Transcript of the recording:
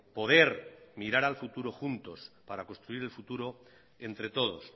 poder mirar al futuro juntos para construir el futuro entre todos